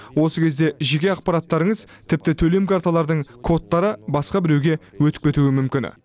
осы кезде жеке ақпараттарыңыз тіпті төлем карталарының кодтары басқа біреуге өтіп кетуі мүмкін